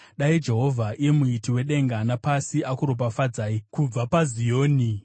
Dai Jehovha, iye Muiti wedenga napasi, akuropafadzai kubva paZioni.